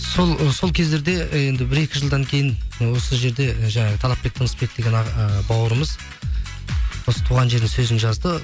ы сол кездерде енді бір екі жылдан кейін осы жерде жаңағы талапбек тынысбек деген ы бауырымыз осы туған жердің сөзін жазды